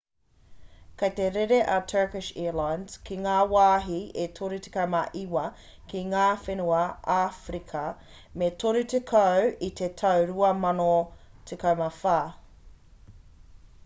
kei te rere a turkish airlines ki ngā wāhi e 39 ki ngā whenua āwherika e 30 i te tau 2014